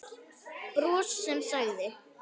Bros sem sagði